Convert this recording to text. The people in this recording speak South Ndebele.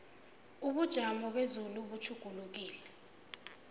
ubujamo bezulu butjhugulukile